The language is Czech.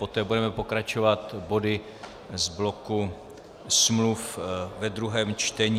Poté budeme pokračovat body z bloku smluv ve druhém čtení.